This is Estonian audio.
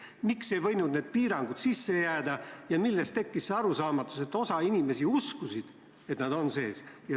Miks ei võinud need piirangud sisse jääda ja millest tekkis see arusaamatus, et osa inimesi uskus, et need on eelnõus sees?